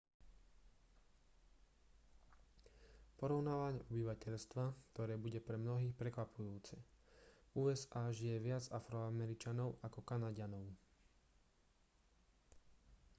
porovnanie obyvateľstva ktoré bude pre mnohých prekvapujúce v usa žije viac afroameričanov ako kanaďanov